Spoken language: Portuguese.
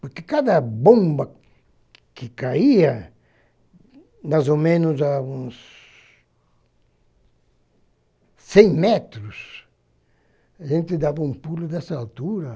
Porque cada bomba que caía, mais ou menos a uns... cem metros, a gente dava um pulo dessa altura.